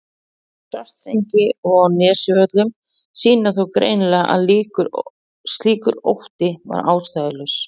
Svartsengi og á Nesjavöllum sýna þó greinilega að slíkur ótti var ástæðulaus.